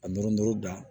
A nɔri dan